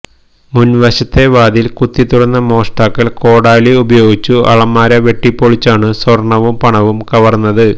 മുൻവശത്തെ വാതിൽ കുത്തിത്തുറന്ന മോഷ്ടാക്കൾ കോടാലി ഉപയോഗിച്ചു അലമാര വെട്ടിപ്പൊളിച്ചാണു സ്വർണവും പണവും കവർന്നത്